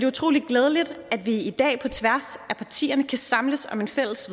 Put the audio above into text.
utrolig glædeligt at vi i dag på tværs af partierne kan samles om et fælles